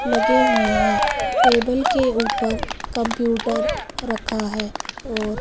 लगे हुए हैं टेबल के ऊपर कंप्यूटर रखा है और--